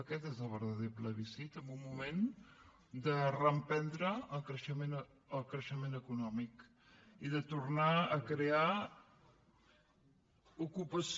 aquest és el verdader plebiscit en un moment de reemprendre el creixement econòmic i de tornar a crear ocupació